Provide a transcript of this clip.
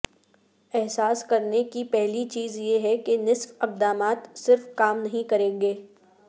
احساس کرنے کی پہلی چیز یہ ہے کہ نصف اقدامات صرف کام نہیں کریں گے